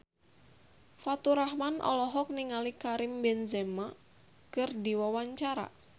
Faturrahman olohok ningali Karim Benzema keur diwawancara